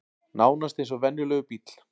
Nánast eins og venjulegur bíll